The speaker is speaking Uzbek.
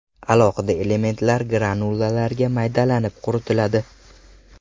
Alohida elementlar granulalarga maydalanib, quritiladi.